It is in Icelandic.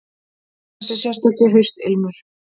Þessi sérstaki haustilmur.